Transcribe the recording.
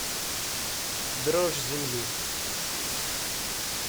дрожь земли